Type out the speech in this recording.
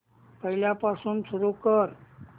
पहिल्यापासून सुरू कर